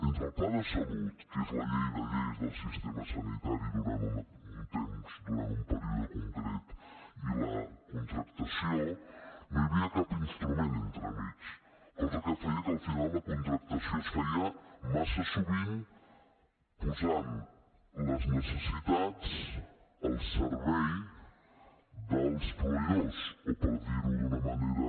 entre el pla de salut que és la llei de lleis del sistema sanitari durant un temps durant un període concret i la contractació no hi havia cap instrument entremig cosa que feia que al final la contractació es feia massa sovint posant les necessitats al servei dels proveïdors o per dir ho d’una manera